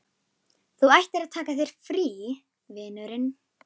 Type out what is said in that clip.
Þú ættir að taka þér frí, vinurinn.